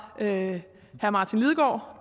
herre martin lidegaard